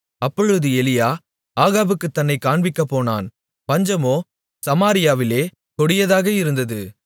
அப்பொழுது எலியா ஆகாபுக்குத் தன்னைக் காண்பிக்கப்போனான் பஞ்சமோ சமாரியாவிலே கொடியதாக இருந்தது